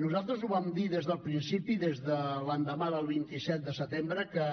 nosaltres ho vam dir des del principi des de l’endemà del vint set de setembre que